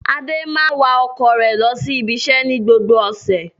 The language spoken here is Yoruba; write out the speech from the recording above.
Adé máa ń wa ọkọ̀ rẹ̀ lọ sí ibiṣẹ́ ní gbogbo ọ̀sẹ̀.